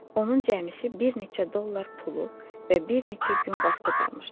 Onun cəmisi bir neçə dollar pulu və bir neçə gün vaxtı qalmışdı.